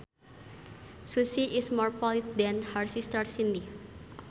Susie is more polite than her sister Cindy